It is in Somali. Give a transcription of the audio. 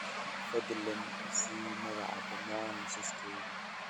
fadlan i sii magaca dhammaan liisaskayga